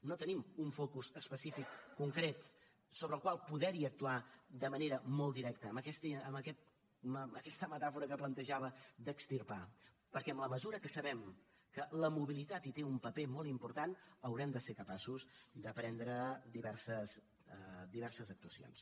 no tenim un focus específic concret sobre el qual poder actuar de manera molt directa amb aquesta metàfora que plantejava d’extirpar perquè en la mesura que sabem que la mobilitat hi té un paper molt important haurem de ser capaços de prendre diverses actuacions